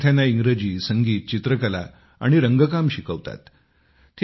ते विद्यार्थ्यांना इंग्रजी संगीत चित्रकला आणि रंगकाम शिकवतात